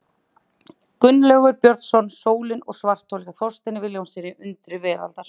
Gunnlaugur Björnsson, Sólir og svarthol, hjá Þorsteini Vilhjálmssyni, Undur veraldar.